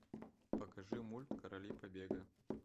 покажи мульт короли побега